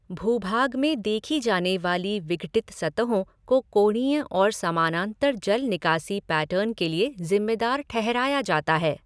भूभाग में देखी जाने वाली विघटित सतहों को कोणीय और समानांतर जल निकासी पैटर्न के लिए जिम्मेदार ठहराया जाता है।